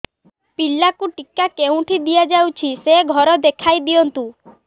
ପିଲାକୁ ଟିକା କେଉଁଠି ଦିଆଯାଉଛି ସେ ଘର ଦେଖାଇ ଦିଅନ୍ତୁ